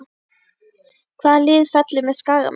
Hvaða lið fellur með Skagamönnum?